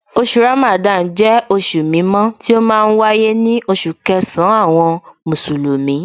Oṣù Ramadan jẹ́ oṣù mímọ́ tí ó ma ń wáyé ní oṣù kẹsàn-án àwọn Mùsùlùmí